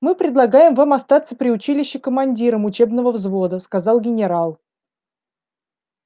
мы предлагаем вам остаться при училище командиром учебного взвода сказал генерал